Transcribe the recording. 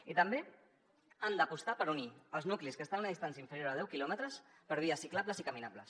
i també han d’apostar per unir els nuclis que estan en una distància inferior a deu quilòmetres per vies ciclables i caminables